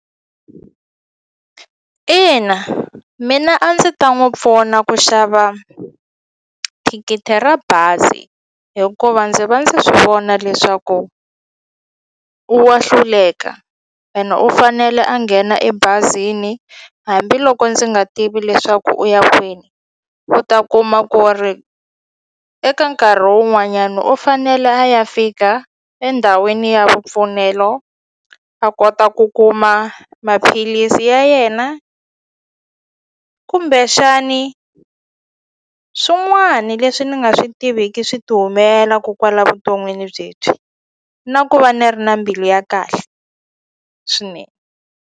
Ina, mina a ndzi ta n'wi pfuna ku xava thikithi ra bazi hikuva ndzi va ndzi swi vona leswaku wa hluleka ene u fanele a nghena ebazini hambiloko ndzi nga tivi leswaku u ya kwini u ta kuma ku ri eka nkarhi wun'wanyana u fanele a ya fika endhawini ya vupfuneto a kota a ku kuma maphilisi ya yena kumbexani swin'wani leswi ni nga swi tiviki swi ti humelelaku kwala vuton'wini byebyi na ku va ni ri na mbilu ya kahle swinene.